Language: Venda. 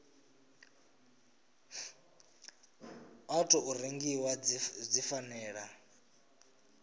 wa tou rengiwa dzi fanela